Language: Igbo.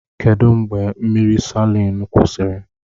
Kedụ mgbe mmiri Salịn kwụsịrị?